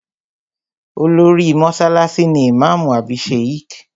Olórí mọ́sálásí ni ìmáàmù àbí Sheikh